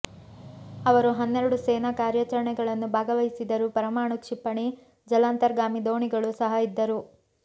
ಅವರು ಹನ್ನೆರಡು ಸೇನಾ ಕಾರ್ಯಾಚರಣೆಗಳನ್ನು ಭಾಗವಹಿಸಿದರು ಪರಮಾಣು ಕ್ಷಿಪಣಿ ಜಲಾಂತರ್ಗಾಮಿ ದೋಣಿಗಳು ಸಹ ಇದ್ದರು